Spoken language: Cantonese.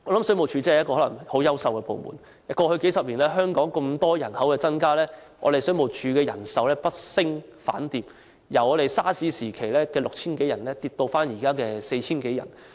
水務署真的可能是很優秀的部門，過去數十年，香港人口大量增加，但水務署的人手卻不升反跌，由 SARS 時期 6,000 多人，下跌至現時 4,000 多人。